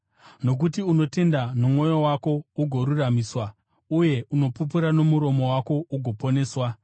Nokuti unotenda nomwoyo wako ugoruramisirwa, uye unopupura nomuromo wako ugoponeswa.